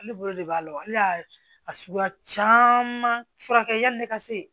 Ale bolo de b'a la ale y'a a suguya caman furakɛ yan ne ka se